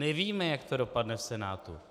Nevíme, jak to dopadne v Senátu.